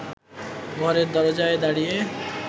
ঘরের দরজায় দাঁড়িয়ে